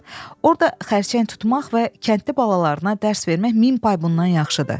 Orda xərçəng tutmaq və kəndli balalarına dərs vermək min pay bundan yaxşıdır.